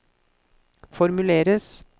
formuleres